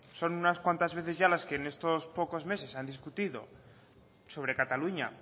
son unas cuentas veces ya las que en estos pocos meses se ha discutido sobre cataluña